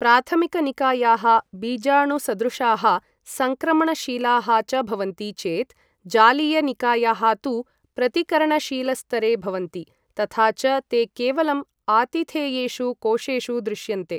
प्राथमिकनिकायाः बीजाणुसदृशाः सङ्क्रमणशीलाः च भवन्ति चेत्, जालीयनिकायाः तु प्रतिकरणशीलस्तरे भवन्ति, तथा च ते केवलम् आतिथेयेषु कोशेषु दृश्यन्ते।